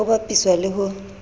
ho bapiswa le ho a